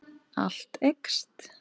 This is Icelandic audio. Allt eykst.